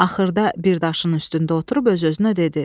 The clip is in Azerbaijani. Axırda bir daşın üstündə oturub öz-özünə dedi: